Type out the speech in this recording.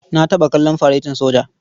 Na taɓa kallon faretin soja.